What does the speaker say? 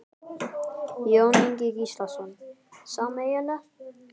Jón Ingi Gíslason: Sameiginlegt?